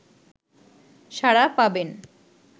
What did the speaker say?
সাড়া পাবেন